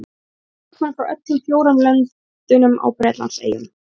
Það eru leikmenn frá öllum fjórum löndunum á Bretlandseyjum.